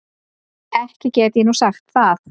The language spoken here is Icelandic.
Ekki get ég nú sagt það.